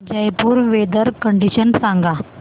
Jaipur weather condition सांगा